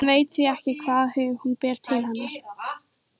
Hann veit því ekki hvaða hug hún ber til hennar.